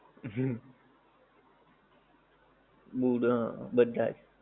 હમ હા બધાય